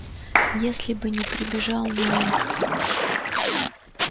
если бы не прибежал найд